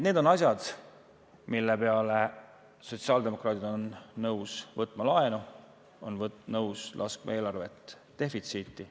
Need on asjad, mille jaoks sotsiaaldemokraadid on nõus võtma laenu, on nõus laskma eelarve defitsiiti.